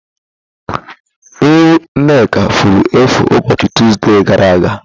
Ewu Nneka efuru efu ụbọchị Tọzdee gara aga